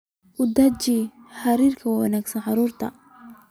U deji xeerar wanaagsan carruurta